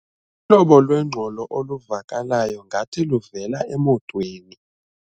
Uhlobo lwengxolo oluvakalayo ngathi luvela emotweni.